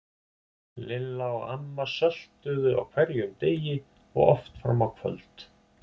Lilla og amma söltuðu á hverjum degi og oft fram á kvöld.